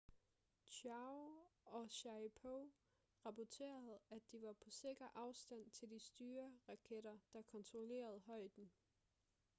chiao og sharipov rapporterede at de var på sikker afstand til de styreraketter der kontrollerede højden